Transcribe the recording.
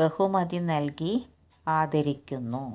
ബഹുമതി നൽകി ആദരിക്കുന്നു